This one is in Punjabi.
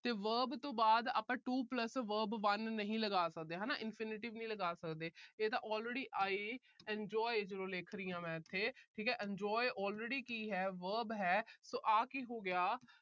ਤੇ verb ਤੋਂ ਬਾਅਦ ਆਪਾ to plus verb one ਨਹੀਂ ਲਗਾ ਸਕਦੇ, ਹਨਾ। infinitive ਨਹੀਂ ਲਗਾ ਸਕਦੇ। ਇਹਦਾ already I enjoy ਲਿਖ ਰਹੀ ਹਾਂ ਇੱਥੇ, enjoy already ਕੀ ਹੈ verb ਹੈ, ਤਾਂ ਆਹ ਕੀ ਹੋ ਗਿਆ